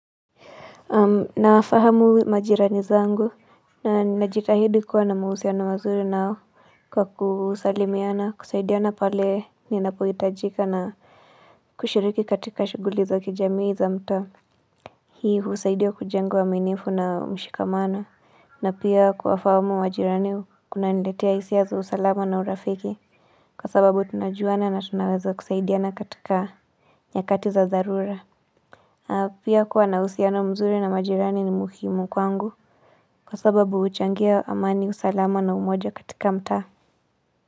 Nafahamu majirani zangu na ninajitahidi kuwa na mahusiano mazuri nao kwa kusalimiana kusaidiana pale ninapo hitajika na kushiriki katika shughuli za kijamii za mtaa Hii huusaidia kujenga uaminifu na mshikamano na pia kuwafahamu majirani kunaniletea hisia za usalama na urafiki Kwa sababu tunajuana na tunaweza kusaidiana katika nyakati za dharura Pia kuwa na uhusiano mzuri na majirani ni muhimu kwangu Kwa sababu huchangia amani, usalama na umoja katika mtaa.